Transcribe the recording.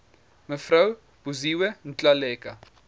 mev buziwe ngaleka